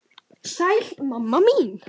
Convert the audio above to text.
Sæl mamma mín.